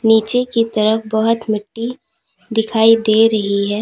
नीचे की तरफ बहोत मिट्टी दिखाई दे रही है।